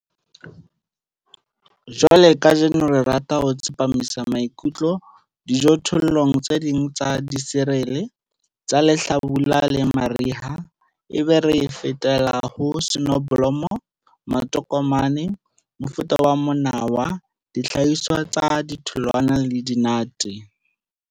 Jwale kajeno re rata ho tsepamisa maikutlo dijothollong tse ding tsa diserele tsa lehlabula le mariha, ebe re fetela ho soneblomo, matokomane, mofuta wa monawa, dihlahiswa tsa ditholwana le dinate.